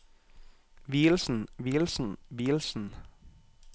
vielsen vielsen vielsen